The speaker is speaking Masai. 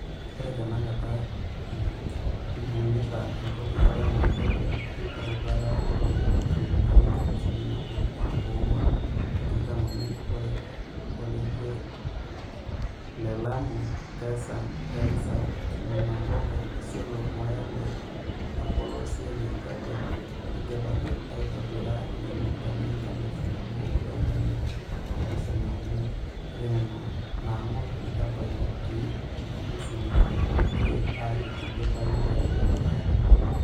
Oree tenakata, ibungita empoti e Lamu Ethiopia tolbaribara lookilomitani enkalifu naboo, iip onguan o tikitam omiet, ore orekia the Lamu-Garsen-Garissa-Kilimambogo-Isiolo-Moyale (Olpolosiay le Ethiopia), neidipaki aitobira inkilomitani enkalifu nabo ontomini oopishana omiet, ore nena naangor neitobiritay nesiligitay ajo keidipayu tiatu ele aari.